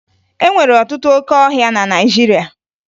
E nwere ọtụtụ óké ọhịa na Naịjirịa